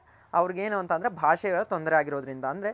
ಅವ್ರಗ್ ಏನು ಭಾಷೆಗಳ ತೊಂದ್ರೆ ಆಗಿರೋದ್ರಿಂದ ಅಂದ್ರೆ.